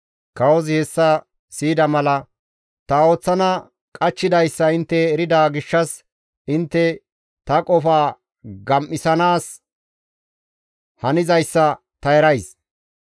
Kawozi hessa siyida mala, «Ta ooththana qachchidayssa intte erida gishshas intte ta qofaa gam7isanaas hanizayssa ta erays.